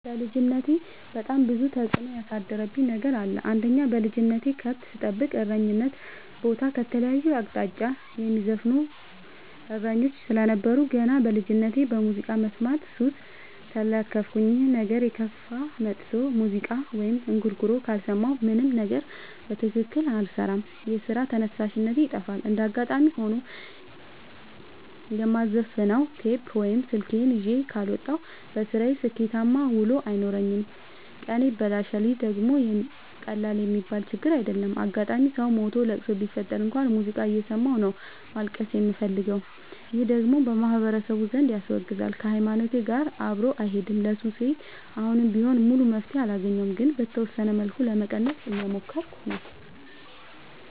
በልጅነቴ በጣም ብዙ ተጽዕኖ ያሳደረብኝ ነገር አለ። አንደኛ በልጅነቴ ከብት ስጠብቅ እረኝነት ቦታ ከተለያየ አቅጣጫ የሚዘፍኑ እሰኞች ስለነበሩ። ገና በልጅነቴ በሙዚቃ መስማት ሱስ ተለከፍኩኝ ይህ ነገርም እየከፋ መጥቶ ሙዚቃ ወይም እንጉርጉሮ ካልሰማሁ ምንም ነገር በትክክል አልሰራም የስራ ተነሳሽነቴ ይጠፋል። እንደጋጣሚ ሆኖ የማዘፍ ነው ቴፕ ወይም ስልክ ይዤ ካልወጣሁ። በስራዬ ስኬታማ ውሎ አይኖረኝም ቀኔ ይበላሻል ይህ ደግሞ ቀላል የሚባል ችግር አይደለም። አጋጣም ሰው ሞቶ ለቅሶ ቢፈጠር እንኳን ሙዚቃ እየሰማሁ ነው ማልቀስ የምፈልገው ይህ ደግሞ በማህበረሰቡ ዘንድ ያስወግዛል። ከሀይማኖቴም ጋር አብሮ አይሄድም። ለሱሴ አሁንም ቢሆን ሙሉ መፍትሔ አላገኘሁም ግን በተወሰነ መልኩ ለመቀነስ እየሞከርኩ ነው።